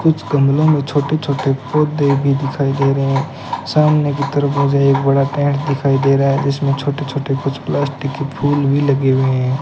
कुछ गमलों में छोटे छोटे पौधे भी दिखाई दे रहे हैं सामने की तरफ मुझे एक बड़ा पेड़ दिखाई दे रहा है जिसमें छोटे छोटे कुछ प्लास्टिक के फूल भी लगे हुए हैं।